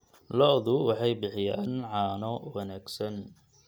Lo'du waxay bixiyaan caano wanaagsan.